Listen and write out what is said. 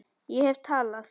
Ég hef talað